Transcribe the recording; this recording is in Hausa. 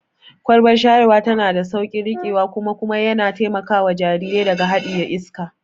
Kwalbar shayarwa tana da sauƙin riƙewa kuma kuma yana taimakawa jarirai daga haɗiye iska.